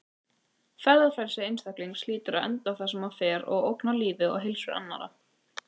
Ferðafrelsi einstaklings hlýtur að enda þar sem það fer að ógna lífi og heilsu annarra.